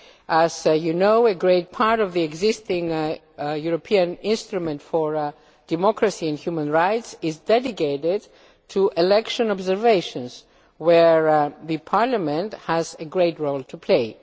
As you know, a great part of the existing European Instrument for Democracy and Human Rights is dedicated to election observations where Parliament has a great role to play.